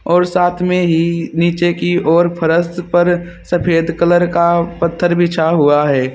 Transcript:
और साथ में ही नीचे की ओर फरश पर सफेद कलर का पत्थर बिछा हुआ है।